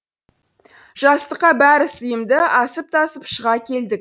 жастыққа бәрі сыйымды асып тасып шыға келдік